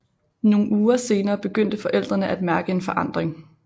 Nogle uger senere begyndte forældrene at mærke en forandring